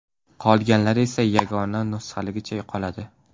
Qolganlari esa yagona nusxaligicha qoladi.